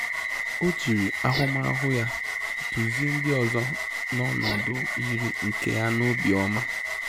O jiri ahụmahụ ya dụzie ndị ọzọ n'ọnọdụ yiri nke ya na obiọma